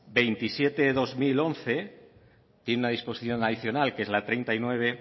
veintisiete barra dos mil once tiene una disposición adicional que es la treinta y nueve